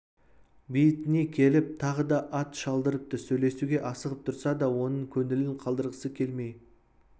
бейітіне келіп тағы да ат шалдырыпты сөйлесуге асығып тұрса да оның көңілін қалдырғысы келмей